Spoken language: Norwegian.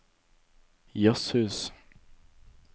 jazzhus